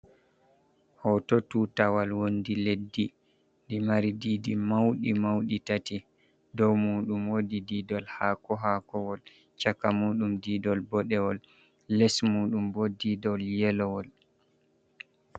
hoto tutawal wondi leddi i mari didi maudi maudi tati dow muɗum wodi didol ha ko hakowol chaka muɗum didol bodewol les muɗum bo didol yelowol